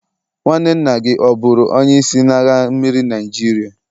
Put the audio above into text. nwanne nna gi oburu onye isi n'agha mmiri Naijiria?